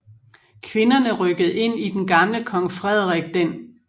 Kvinderne rykkede ind i den gamle Kong Frederik d